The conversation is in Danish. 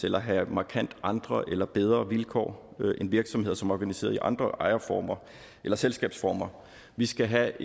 eller have markant andre eller bedre vilkår end virksomheder som er organiseret i andre ejerformer eller selskabsformer vi skal have